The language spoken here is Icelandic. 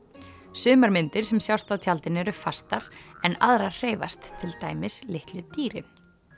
sumar myndir sem sjást á tjaldinu eru fastar en aðrar hreyfast til dæmis litlu dýrin